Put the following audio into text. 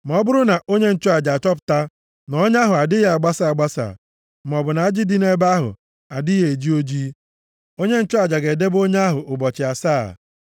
Ma ọ bụrụ na onye nchụaja achọpụta na ọnya ahụ adịghị abasa abasa, maọbụ na ajị dị nʼebe ahụ adịghị eji ojii, onye nchụaja ga-edebe onye ahụ ụbọchị asaa.